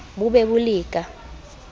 bo be bo le ka